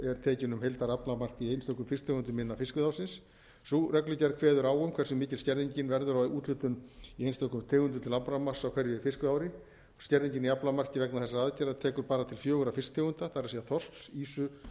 er tekin um heildaraflamark í einstökum fisktegundum innan fiskveiðiárs sú reglugerð kveður á um hversu mikil skerðingin verður á úthlutun í einstökum tegundum til aflamarks á hverju fiskveiðiári skerðingin í aflamarki vegna þessara aðgerða tekur bara til fjögurra fisktegunda það er þorsks ýsu